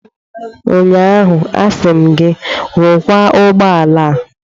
Ụnyaahụ, asị m gị, rụkwaa ụgbọ ala a!